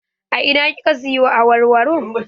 A ina kika siyo awarwaro?